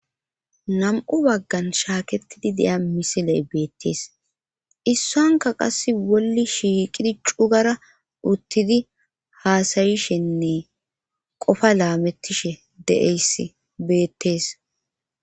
Nam7u baggan shaaketidi deya misiley beettees issonka qass wolli shiiqidi cugara uttidi haasayishenne qofa laamettishe de7eys beettees.